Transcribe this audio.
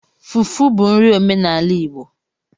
Fufu bụ nri omenala Igbo